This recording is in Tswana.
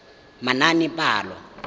manaanepalo